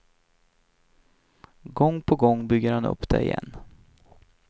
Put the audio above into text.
Gång på gång bygger han upp den igen.